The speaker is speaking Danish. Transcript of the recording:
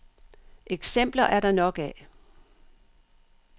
Eksempler er der nok af.